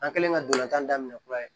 An kɛlen ka dolantan daminɛ kura ye